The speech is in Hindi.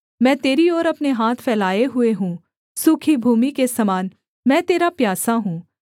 मैं तेरी ओर अपने हाथ फैलाए हुए हूँ सूखी भूमि के समान मैं तेरा प्यासा हूँ सेला